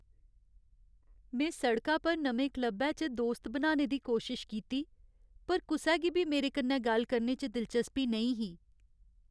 में सड़का पर नमें क्लबै च दोस्त बनाने दी कोशश कीती, पर कुसै गी बी मेरे कन्नै गल्ल करने च दिलचस्पी नेईं ही।